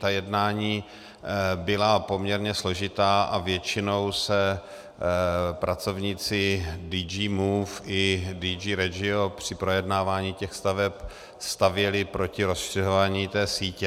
Ta jednání byla poměrně složitá a většinou se pracovníci DG Move i DG Regio při projednávání těch staveb stavěli proti rozšiřování té sítě.